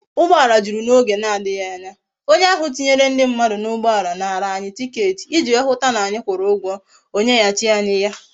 Ugboala juru na oge na adighi anya, onye ahu tinyere ndi mmadu na ugboala nara anyi ticket iji wee hu ta na anyi kwuru ugwo, onye ha chi kwa anyi ya